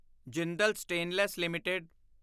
Jindal stainless LTD